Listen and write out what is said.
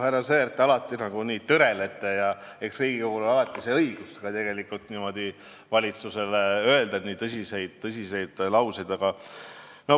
Härra Sõerd, te alati nagu tõrelete, aga eks Riigikogul ole õigus valitsusele ka nii tõsiseid lauseid öelda.